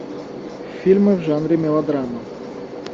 фильмы в жанре мелодрама